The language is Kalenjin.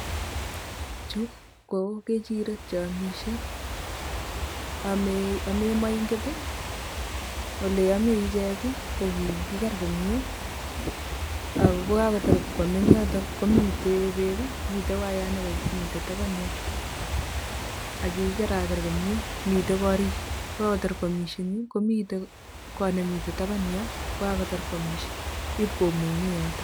Chu ko kechirek cheomisie ame ame moinget ole ame ichek ko kikiker komie ako kakotar koame eng yotok komite bek ii mitei wayat ne mitei taban yo ak kikikeraker komie. Mitei korik kokakotar koamisie yu komitei kot ne mitei taban yoo kokakotar koamisie ipkomungee yotok.